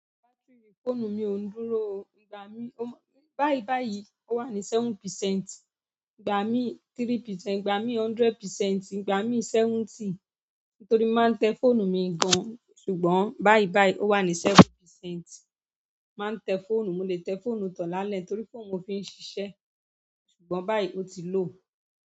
Batiri fóònù mi ò ń dúró o. Gba mi, o, báì báìì, ó wà ní seven percent, gba mi three percent, gba mi hundred percent, gba mi seventy. Nítorí má ń tẹ fóònù mi gan, ṣùgbọ́n báì báì ó wà ní seven percent. Má ń tẹ fóònù, mo lè tẹ fóònù tọ lálẹ́ torí fóònù mo fi ń ṣiṣẹ́, ṣùgbọ́n báì ó ti lò.